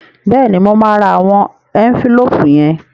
Bẹ́ẹ̀ni, mo máa ra àwọn ẹ́ńfílóòpù yẹn